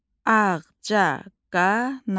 Ağcaqanad.